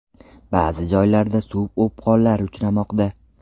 Ba’zi joylarda suv o‘pqonlari uchramoqda.